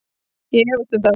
Ég efst um það